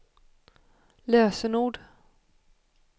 lösenord